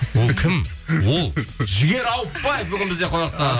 ол кім ол жігер ауытпаев бүгін бізде қонақта